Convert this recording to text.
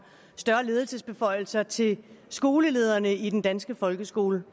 større ledelsesbeføjelser til skolelederne i den danske folkeskole